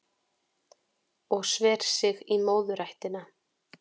Og sver sig í móðurættina